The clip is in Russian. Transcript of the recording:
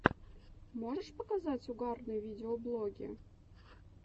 можешь показать угарные видеоблоги